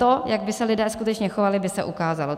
To, jak by se lidé skutečně chovali, by se ukázalo.